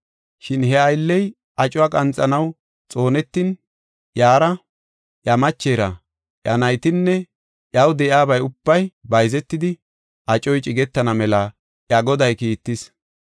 Shin he aylley acuwa qanxanaw xoonetin iyara, iya machera, iya naytinne iyaw de7iyabay ubbay bayzetidi acoy cigetana mela iya goday kiittis.